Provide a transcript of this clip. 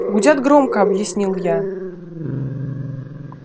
гудят громко объяснил я